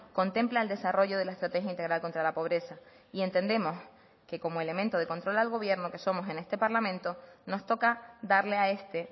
contempla el desarrollo de la estrategia integral contra la pobreza y entendemos que como elemento de control al gobierno que somos en este parlamento nos toca darle a este